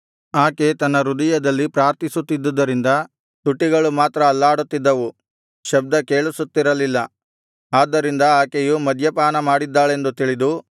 ಆಕೆ ತನ್ನ ಹೃದಯದಲ್ಲಿ ಪ್ರಾರ್ಥಿಸುತ್ತಿದ್ದರಿಂದ ತುಟಿಗಳು ಮಾತ್ರ ಅಲ್ಲಾಡುತ್ತಿದ್ದವು ಶಬ್ದ ಕೇಳಿಸುತ್ತಿರಲಿಲ್ಲ ಆದ್ದರಿಂದ ಆಕೆಯು ಮದ್ಯಪಾನಮಾಡಿದ್ದಾಳೆಂದು ತಿಳಿದು